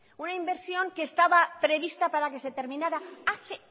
una inversión que estaba prevista para que se terminara hace